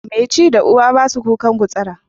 Mai ci da uwa ba su a kukan gutsura.